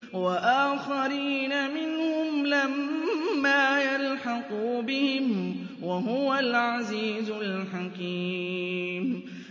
وَآخَرِينَ مِنْهُمْ لَمَّا يَلْحَقُوا بِهِمْ ۚ وَهُوَ الْعَزِيزُ الْحَكِيمُ